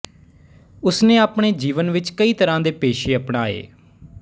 ਉਸ ਨੇ ਆਪਣੇ ਜੀਵਨ ਵਿੱਚ ਕਈ ਤਰ੍ਹਾਂ ਦੇ ਪੇਸ਼ੇ ਅਪਣਾਏ